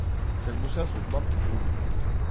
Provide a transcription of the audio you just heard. как бы сейчас вот бабки будут